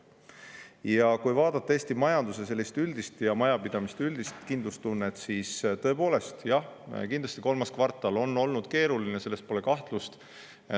Ja kui vaadata Eesti majanduse üldist ja majapidamiste üldist kindlustunnet, siis jah, kindlasti kolmas kvartal on olnud keeruline, selles pole kahtlust.